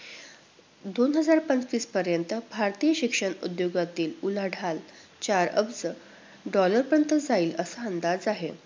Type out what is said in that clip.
दोन हजार पंचवीस पर्यंत भारतीय शिक्षण उद्योगातील उलाढाल चार अब्ज dollar पर्यंत जाईल असा अंदाज आहे.